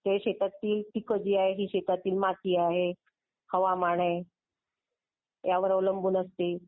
जी आहे मातीची आहे.जी शेतातील माती आहे. हवामान आहे.यावर अवलंबून असते.